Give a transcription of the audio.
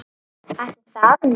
Ætli það nú.